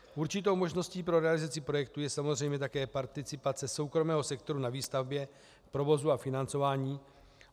Určitou možností pro realizaci projektu je samozřejmě také participace soukromého sektoru na výstavbě, provozu a financování.